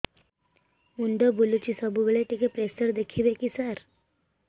ମୁଣ୍ଡ ବୁଲୁଚି ସବୁବେଳେ ଟିକେ ପ୍ରେସର ଦେଖିବେ କି ସାର